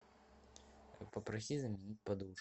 попроси заменить подушку